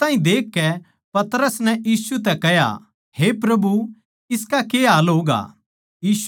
उस ताहीं देखकै पतरस नै यीशु तै कह्या हे प्रभु इसका के हाल होगा